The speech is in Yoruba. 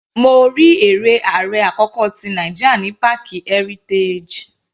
Mo rí eré ààrẹ àkọ́kọ́ tí Nàìjíríà ní páàkì Heritage.